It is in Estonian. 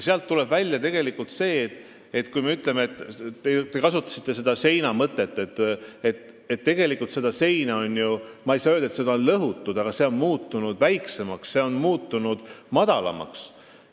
Sealt tuleb välja – te kasutasite seina mõtet –, et tegelikult on ju seda seina, ma ei saa öelda, et lõhutud, aga see on muutunud väiksemaks, madalamaks.